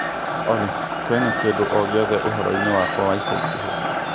Olly kũina kĩndũ o gĩothe uhoro wakwa wa ica ikuhĩ